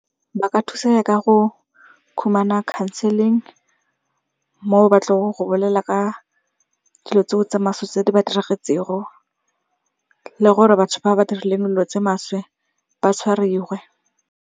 Ba ka thusa ya ka go khumana counseling mo ba tlong go bolela ka dilo tseo tse maswe tse di ba dirageletseng go. Le gore batho ba ba dirileng dilo tse maswe ba tshwariwe.